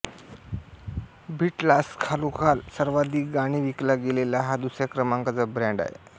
बीटल्सखालोखाल सर्वाधिक गाणी विकला गेलेला हा दुसऱ्या क्रमांकाचा बँड आहे